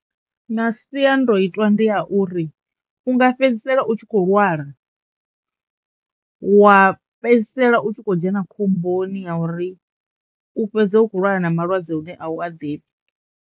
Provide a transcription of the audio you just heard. Masiandoitwa ndi a uri u nga fhedzisela u tshi kho lwala wa fhedzisela u tshi khou dzhena khomboni ya uri u fhedza u kho lwala na malwadze une a u a ḓivhi.